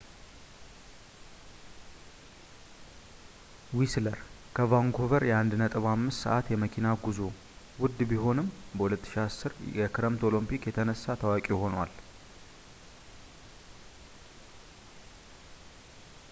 whistler ከvancouver የ1.5 ሰአት የመኪና ጉዞ ውድ ቢሆንም በ2010 የክረምት ኦሎምፒክ የተነሳ ታዋቂ ሆኗል